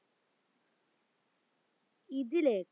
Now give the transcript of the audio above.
ഇതിലേക്ക്